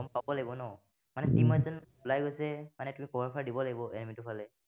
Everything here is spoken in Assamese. ওলাই গৈছে, মানে তুমি cover fire দিব লাগিব time টো পালে।